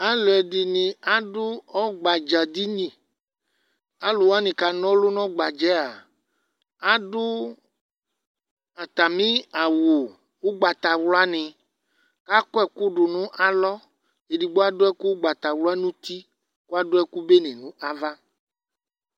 alò ɛdini adu ɔgba dza di ni alòwani k'ana ɔlu n'ɔgba dza yɛ adu atami awu ugbata wla ni akɔ ɛkò do nò alɔ edigbo adu ɛkò ugbata wla n'uti k'adu ɛkò bene no ava